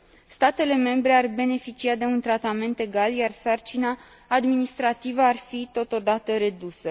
Statele membre ar beneficia de un tratament egal, iar sarcina administrativă ar fi totodată redusă.